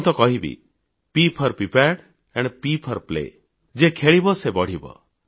ମୁଁ ତ କହିବି P four prepared and P four play ଯିଏ ଖେଳିବ ସେ ବଢ଼ିବ